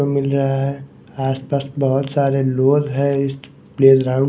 सब मिल रहा है आस पास बहोत सारे लोग है इस प्लेग्राउंड --